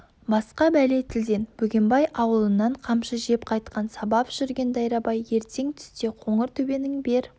басқа бәле тілден бөгенбай ауылынан қамшы жеп қайтқан сабап жүрген дайрабай ертең түсте қоңыр төбенің бер